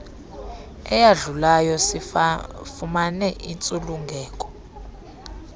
eyadlulayo sifumane intsulungeko